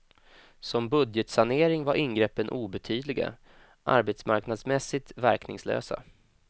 Som budgetsanering var ingreppen obetydliga, arbetsmarknadsmässigt verkningslösa.